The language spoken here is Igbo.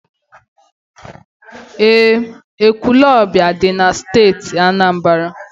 Eé, Ekwulọọbịa dị na Steeti Anambra.